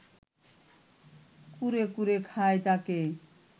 কুরে কুরে খায় তাকে